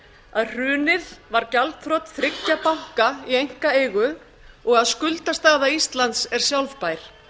að hrunið var gjaldþrot þriggja auka í einkaeigu og að skuldastaða íslands er sjálfbær